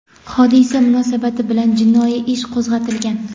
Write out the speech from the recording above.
Hodisa munosabati bilan jinoiy ish qo‘zg‘atilgan.